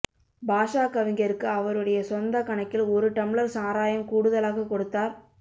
பாஷா கவிஞருக்கு அவருடைய சொந்த கணக்கில் ஒரு டம்ளர் சாராயம் கூடுதலாகக் கொடுத்தார்